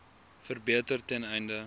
verbeter ten einde